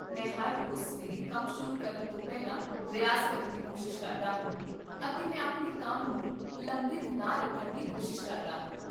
ਮੈਂ ਹਰ ਰੋਜ਼ ਸਵੇਰੇ ਕੰਮ ਸ਼ੁਰੂ ਕਰਨ ਤੋਂ ਪਹਿਲਾਂ ਰਿਆਜ਼ ਕਰਨ ਦੀ ਕੋਸ਼ਿਸ਼ ਕਰਦਾ ਹਾਂ